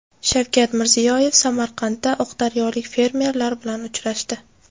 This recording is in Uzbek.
Shavkat Mirziyoyev Samarqandda oqdaryolik fermerlar bilan uchrashdi.